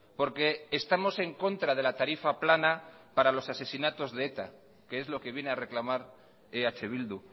porque estamos en contra de la tarifa plana para los asesinatos de eta que es lo que viene a reclamar eh bildu